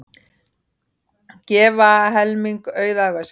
Gefa helming auðæfa sinna